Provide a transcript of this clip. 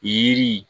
Yiri